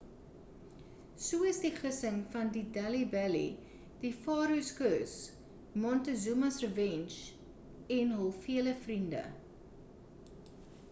so is die gissing van die delhi belly the pharaoh's curse montezuma's revenge en hul vele vriende